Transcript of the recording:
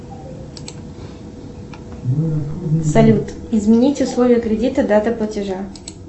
салют изменить условия кредита дата платежа